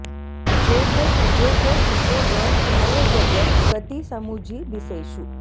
जोग कुजोग सुजोग मय जग गति समुझि बिसेषु